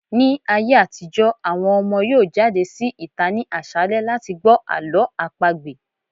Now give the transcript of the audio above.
Ní ayé àtijọ́, àwọn ọmọ yóò jáde sí ìta ní àṣálẹ́ láti gbọ́ Àlọ́ àpagbè.